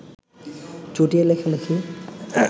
চুটিয়ে লেখালেখি